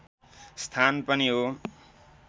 स्थान पनि हो